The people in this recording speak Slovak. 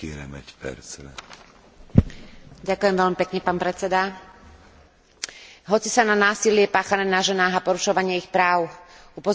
Hoci sa na násilie páchané na ženách a porušovanie ich práv upozorňuje už niekoľko desiatok rokov, stále sa nedarí zastaviť túto odsúdeniahodnú formu kriminality.